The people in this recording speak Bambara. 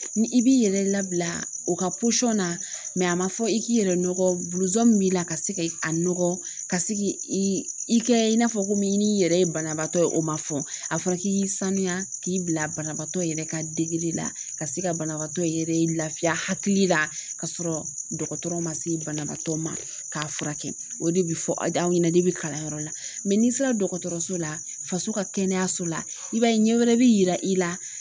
Ni i b'i yɛrɛ labila o ka na a ma fɔ i k'i yɛrɛ nɔgɔ min b'i la ka se a nɔgɔ ka se i kɛ i n'a fɔ ko min yɛrɛ ye banabaatɔ ye o ma fɔ a fɔ k'i k'i sanuya k'i bila banabaatɔ yɛrɛ ka degeli la ka se ka banabaatɔ yɛrɛ lafiya hakili la ka sɔrɔ dɔgɔtɔrɔ ma se banabagatɔ ma k'a furakɛ o de bɛ fɔ aw ɲɛna ni bɛ kalanyɔrɔ la n'i sera dɔgɔtɔrɔso la faso ka kɛnɛyaso la i b'a ye ɲɛ wɛrɛ bɛ yira i la